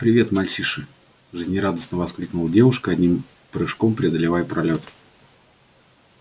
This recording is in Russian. привет мальчиши жизнерадостно воскликнула девушка одним прыжком преодолевая пролёт